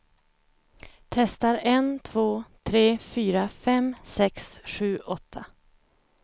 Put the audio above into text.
Testar en två tre fyra fem sex sju åtta.